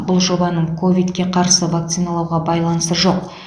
бұл жобаның ковидқа қарсы вакциналауға байланысы жоқ